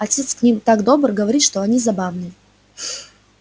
отец к ним так добр говорит что они забавные